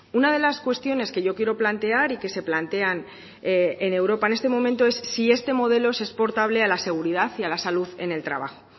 una de las cuestiones que yo quiero plantear y que se plantean en europa en este momento es si este modelo es exportable a la seguridad y a la salud en el trabajo